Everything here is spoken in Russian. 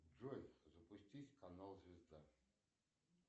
джой запусти канал звезда